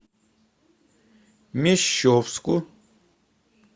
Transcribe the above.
мещовску